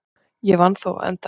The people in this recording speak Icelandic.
Ég vann þó á endanum.